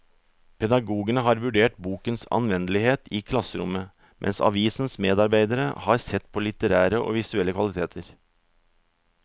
Pedagogene har vurdert bokens anvendelighet i klasserommet, mens avisens medarbeidere har sett på litterære og visuelle kvaliteter.